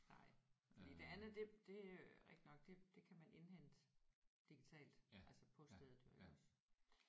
Nej fordi det andet det det øh er rigtigt nok det det kan man indhente digitalt altså på stedet jo iggås